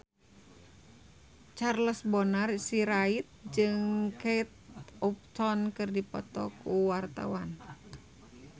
Charles Bonar Sirait jeung Kate Upton keur dipoto ku wartawan